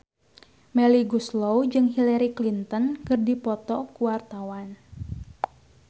Melly Goeslaw jeung Hillary Clinton keur dipoto ku wartawan